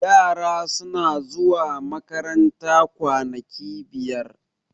yara suna zuwa makaranta kwanaki biyar